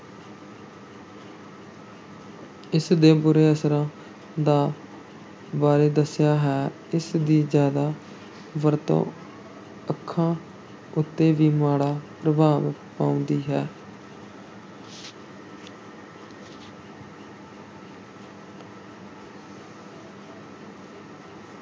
ਇਸ ਦੇ ਬੁਰੇ ਅਸਰਾਂ ਦਾ ਬਾਰੇ ਦੱਸਿਆ ਹੈ, ਇਸ ਦੀ ਜ਼ਿਆਦਾ ਵਰਤੋਂ ਅੱਖਾਂ ਉੱਤੇ ਵੀ ਮਾੜੇ ਪ੍ਰਭਾਵ ਪਾਉਂਦੀ ਹੈ।